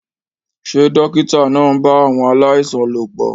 Ṣé dókítà náà ń bá àwọn aláìsàn lòpọ̀?